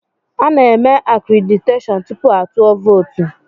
Ana-eme akréditeshọọn tupu a tụọ vootu.